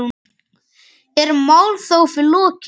Er málþófi lokið?